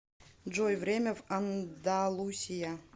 джой время в андалусия